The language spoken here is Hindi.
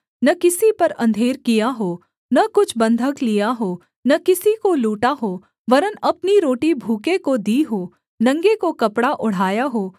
न किसी पर अंधेर किया हो न कुछ बन्धक लिया हो न किसी को लूटा हो वरन् अपनी रोटी भूखे को दी हो नंगे को कपड़ा ओढ़ाया हो